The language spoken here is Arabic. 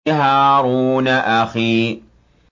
هَارُونَ أَخِي